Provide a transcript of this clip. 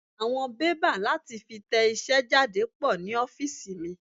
Àwọn bébà láti fi tẹ iṣẹ́ jáde pò ní ofiisi mi.